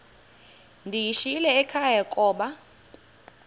ndiyishiyile ekhaya koba